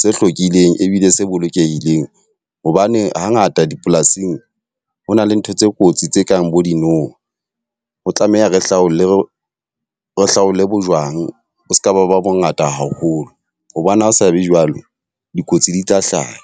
se hlwekileng ebile se bolokehileng. Hobane ha ngata dipolasing ho na le ntho tse kotsi tse kang bo dinoha. Ho tlameha re hlaole, re re hlaole bojwang bo seka ba ba bo ngata haholo. Hobane ha o sa be jwalo, dikotsi di tla hlaha.